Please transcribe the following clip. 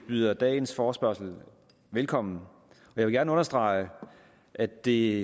byder dagens forespørgsel velkommen jeg vil gerne understrege at det